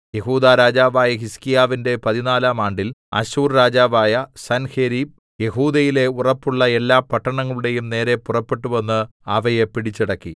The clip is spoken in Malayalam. യെഹൂദാ രാജാവായ ഹിസ്ക്കീയാവിന്റെ പതിനാലാം ആണ്ടിൽ അശ്ശൂർ രാജാവായ സൻഹേരീബ് യെഹൂദയിലെ ഉറപ്പുള്ള എല്ലാ പട്ടണങ്ങളുടെയും നേരെ പുറപ്പെട്ടുവന്ന് അവയെ പിടിച്ചടക്കി